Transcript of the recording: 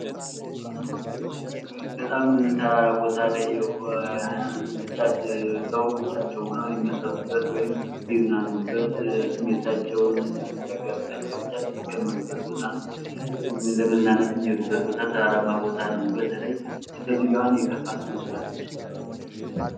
በጣም ተራራማ ቦታ ላይ የሆኑ ሰዎች ብቻቸውን ሁነው የሚያስቡበት ወይም የሚዝናኑበት ተራራማ ቦታ ነው ፤ በተለይ ይቺ ሴትዮ አሁን የከፋት ትመስላለች።